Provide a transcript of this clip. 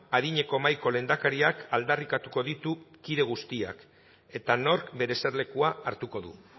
adineko mahaiko lehendakariak aldarrikatuko ditu kide guztiak eta nork bere eserlekua hartuko du